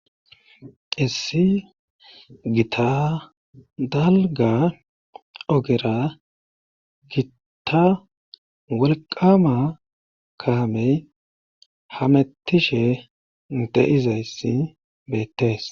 Issi gita dalga ogera gitta wolqama kaamey hamettishe deizayssi beettees.